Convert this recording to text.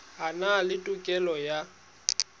a na le tokelo ya